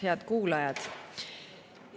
Head kuulajad!